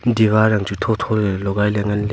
diwar ham chu thotho ley logai ley nganley.